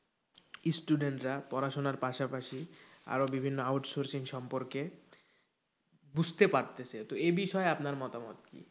Student রা পড়াশোনার পাশাপাশি আরো বিভিন্ন out sourcing সম্পর্কে বুঝতে পারছে তো এবিষয়ে আপনার মতামত কি?